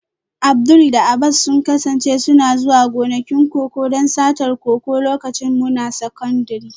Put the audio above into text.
Abdul da Abbas sun kasance suna zuwa gonakin koko don satar koko lokacin muna sakandire